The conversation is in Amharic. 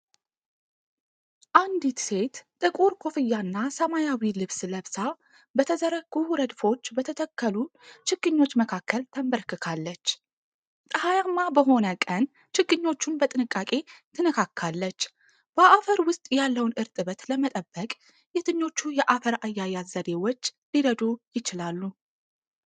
አንዲት ሴት ጥቁር ኮፍያና ሰማያዊ ልብስ ለብሳ፣ በተዘረጉ ረድፎች በተተከሉ ችግኞች መካከል ተንበርክካለች። ፀሐያማ በሆነ ቀን ችግኞቹን በጥንቃቄ ትነካካለች፤ በአፈር ውስጥ ያለውን እርጥበት ለመጠበቅ የትኞቹ የአፈር አያያዝ ዘዴዎች ሊረዱ ይችላሉ?